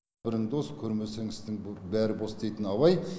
бірің дос көрмесең істің бәрі бос дейтін абай